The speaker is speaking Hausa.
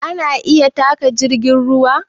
A na iya taƙa jirgin ruwa